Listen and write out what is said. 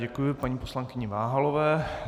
Děkuji paní poslankyni Váhalové.